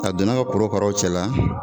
A donn'a ka korokaraw cɛ la